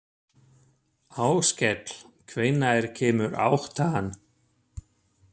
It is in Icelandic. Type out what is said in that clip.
Áskell, hvenær kemur áttan?